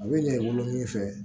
A bɛ ɲɛ i bolo min fɛ